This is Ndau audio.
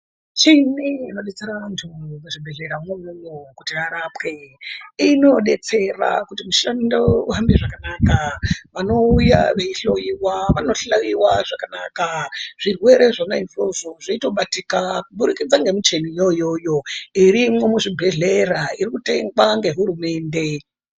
Michini inodetsera vantu muzvibhedhleramwo imwomwo kuti varapwe, inodetsera kuti mushando uhambe zvakanaka. Vanouya veihloyiwa, vanohloyiwa zvakanaka. Zvirwere zvona izvozvo zveitobatika kuburikidza ngemicheni iyo iyoyo irimwo muzvibhedhlera, iri kutengwa ngehurumende.